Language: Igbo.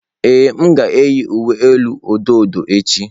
Ee, m ga-eyi uwe elu odo odo echi.